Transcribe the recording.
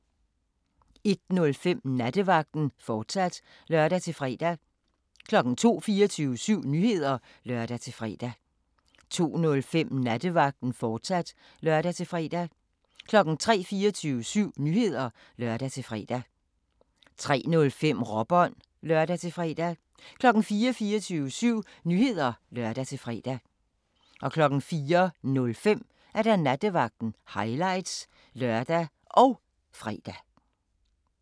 01:05: Nattevagten, fortsat (lør-fre) 02:00: 24syv Nyheder (lør-fre) 02:05: Nattevagten, fortsat (lør-fre) 03:00: 24syv Nyheder (lør-fre) 03:05: Råbånd (lør-fre) 04:00: 24syv Nyheder (lør-fre) 04:05: Nattevagten – highlights (lør og fre)